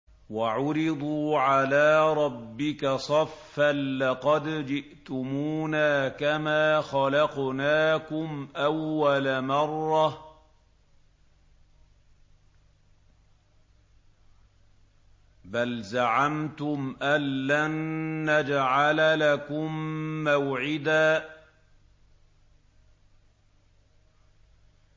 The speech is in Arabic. وَعُرِضُوا عَلَىٰ رَبِّكَ صَفًّا لَّقَدْ جِئْتُمُونَا كَمَا خَلَقْنَاكُمْ أَوَّلَ مَرَّةٍ ۚ بَلْ زَعَمْتُمْ أَلَّن نَّجْعَلَ لَكُم مَّوْعِدًا